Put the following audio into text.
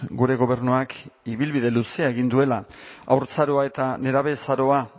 gure gobernuak ibilbide luzea egin duela haurtzaroa eta nerabezaroa